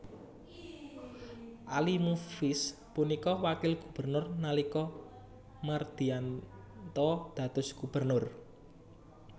Ali Mufiz punika wakil gubernur nalika Mardiyanto dados gubernur